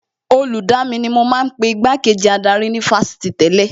Olùdamí ni wọ́n ma ń pe Igbá kejì adarí ní Fásitì tẹ́lẹ̀